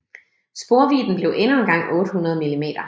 Sporvidden blev endnu engang 800 mm